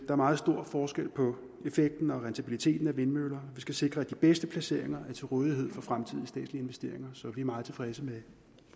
er meget stor forskel på effekten og rentabiliteten af vindmøller vi skal sikre at de bedste placeringer er til rådighed for fremtidige statslige investeringer så vi er meget tilfredse med